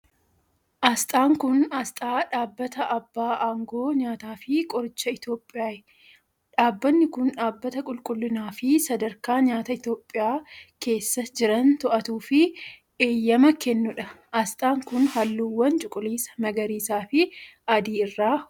Asxaan kun, asxaa dhaabbata abbaa aangoo nyaataa fi qorichaa Itoophiyaai. Dhaabbanni kun, dhaabbata qulqullinaa fi sadarkaa nyaataa Itoophiyaa keessa jiran to'atuu fi eeyyama kennuu dha. Asxaan kun, haalluuwwan cuquliisa, magariisa fi adii irraa hojjatame.